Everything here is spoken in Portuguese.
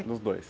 Dos dois.